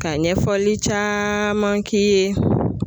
Ka ɲɛfɔli caaman k'i ye